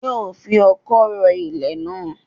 Yóò fi ọkọ́ ro ilẹ̀ náà